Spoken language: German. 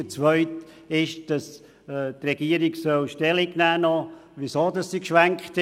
Der zweite ist, dass die Regierung noch Stellung dazu nehmen solle, weshalb sie umgeschwenkt ist.